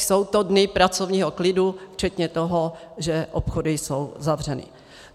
jsou to dny pracovního klidu včetně toho, že obchody jsou zavřeny.